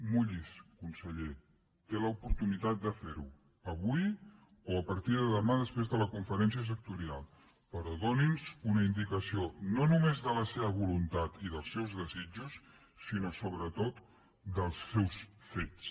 mulli’s conseller té l’oportunitat de fer ho avui o a partir de demà després de la conferència sectorial però doni’ns una indicació no només de la seva voluntat i dels seus desitjos sinó sobretot dels seus fets